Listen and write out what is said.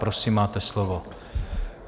Prosím, máte slovo.